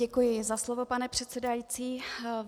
Děkuji za slovo, pane předsedající.